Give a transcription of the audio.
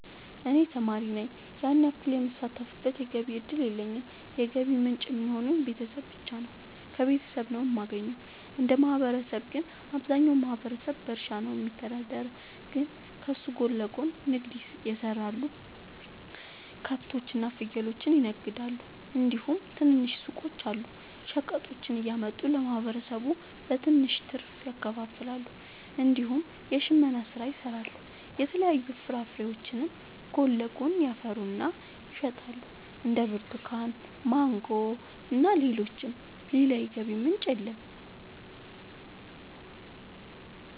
እኔ ተማሪ ነኝ ያን ያክል የምሳተፍበት የገቢ እድል የለኝም የገቢ ምንጭ የሚሆኑኝ ቤተሰብ ብቻ ነው። ከቤተሰብ ነው የማገኘው። እንደ ማህበረሰብ ግን አብዛኛው ማህበረሰብ በእርሻ ነው የሚተዳደር ግን ከሱ ጎን ለጎን ንግድ የሰራሉ ከብቶች እና ፍየሎችን ይነግዳሉ እንዲሁም ትናንሽ ሱቆች አሉ። ሸቀጦችን እያመጡ ለማህበረሰቡ በትንሽ ትርፍ ያከፋፍላሉ። እንዲሁም የሽመና ስራ ይሰራሉ የተለያዩ ፍራፍሬዎችንም ጎን ለጎን ያፈሩና ይሸጣሉ እንደ ብርቱካን ማንጎ እና ሌሎችም። ሌላ የገቢ ምንጭ የለም።